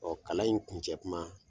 Ɔ kalan in kuncɛ kuma